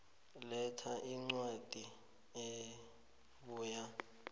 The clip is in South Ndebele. letha incwadi ebuya